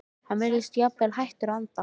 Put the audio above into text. Hann virðist jafnvel hættur að anda.